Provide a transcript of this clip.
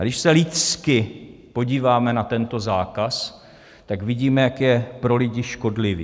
A když se lidsky podíváme na tento zákaz, tak vidíme, jak je pro lidi škodlivý.